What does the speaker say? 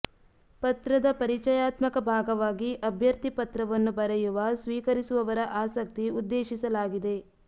ಪತ್ರದ ಪರಿಚಯಾತ್ಮಕ ಭಾಗವಾಗಿ ಅಭ್ಯರ್ಥಿ ಪತ್ರವನ್ನು ಬರೆಯುವ ಸ್ವೀಕರಿಸುವವರ ಆಸಕ್ತಿ ಉದ್ದೇಶಿಸಲಾಗಿದೆ